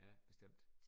Ja bestemt